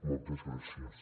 moltes gràcies